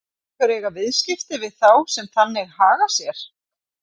Vill einhver eiga viðskipti við þá sem þannig haga sér?